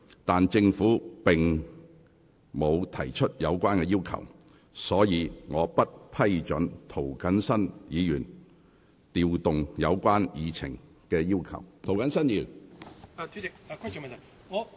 然而，政府並無提出有關要求，所以我不批准涂謹申議員該項旨在調動有關議程項目的議案。